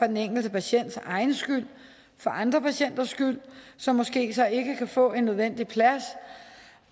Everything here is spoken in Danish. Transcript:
den enkelte patients skyld for andre patienters skyld som måske så ikke kan få en nødvendig plads